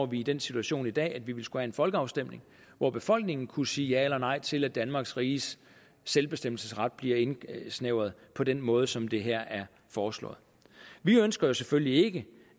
vi i den situation i dag at vi ville skulle have en folkeafstemning hvor befolkningen kunne sige ja eller nej til at danmarks riges selvbestemmelsesret bliver indsnævret på den måde som det her er foreslået vi ønsker jo selvfølgelig ikke